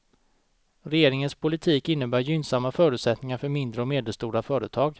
Regeringens politik innebär gynnsamma förutsättningar för mindre och medelstora företag.